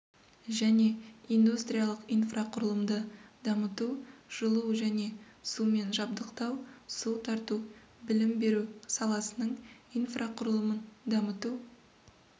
және индустриалық инфрақұрылымды дамыту жылу және сумен жабдықтау су тарту білім беру саласының инфрақұрылымын дамыту